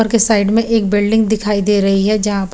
उपर के साइड में एक बिल्डिंग दिखाई दे रही है जहा पे --